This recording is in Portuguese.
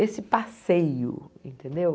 esse passeio, entendeu?